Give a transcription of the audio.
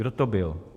Kdo to byl?